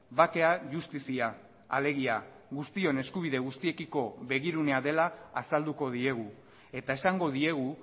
bakea justizia alegia guztion eskubide guztiekiko begirunea dela azalduko diegu eta esango diegu